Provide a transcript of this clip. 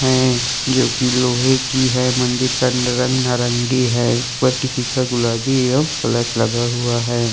हैं जो कि लोहे की है मंदिर का रंग नारंगी है और किसी का गुलाबी है और प्लस लगा हुआ है।